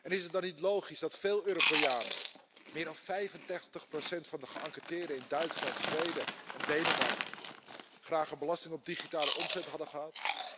Is het dan niet logisch dat veel Europeanen meer dan 35 van de geënquêteerden in Duitsland, Zweden en Denemarken graag een belasting op digitale omzet hadden gehad?